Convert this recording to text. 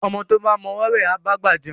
Ọmọ tó bá mọ ọwọ́ wẹ̀, á bá gbà jẹun